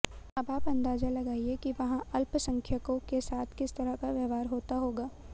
अब आप अंदाजा लगाइए कि वहां अल्पसंख्यकों के साथ किस तरह का व्यवहार होता होगा